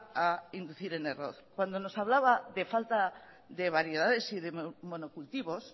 a inducir en error cuando nos hablaba de falta de variedades y de monocultivos